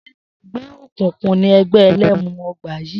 S̩é e̩gbé̩ òkùnkùn ni e̩gbé̩ e̩lé̩mu o̩gbà yìí?